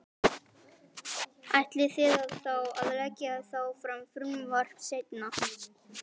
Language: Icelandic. Ætlið þið þá að leggja þá fram frumvarp seinna?